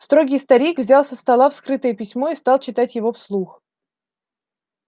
строгий старик взял со стола вскрытое письмо и стал читать его вслух